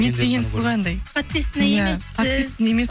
не етпегенсіз ғой анандай подписан емессіз иә подписан емес